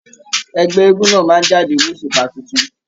Ẹgbẹ eégún náà máa n jáde l'osupa títún.